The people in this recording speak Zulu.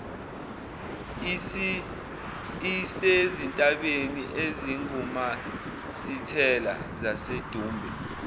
isezintabeni ezingumasithela zasedumbe